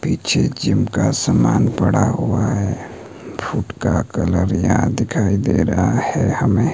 पीछे जिम का समान पड़ा हुआ है फूट का कलर यहां दिखाई दे रहा है हमे--